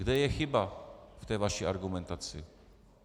Kde je chyba v té vaší argumentaci?